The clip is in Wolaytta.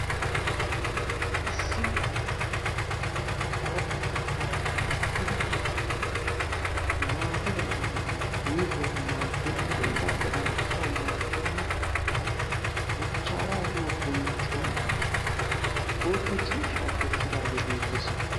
Issi aradda sohuwaan mokkidi maatadan miizzawu maaddena miizzawu maaddena kattadan asawu maaddena machchaara giyoo bonccoy bootta ciishshaa kessidagee beettees.